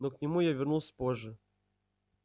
но к нему я вернусь позже